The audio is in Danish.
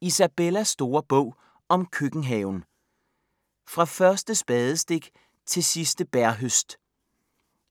Isabellas store bog om køkkenhaven: fra første spadestik til sidste bærhøst